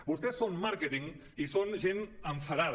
vostès són màrqueting i són gent enfadada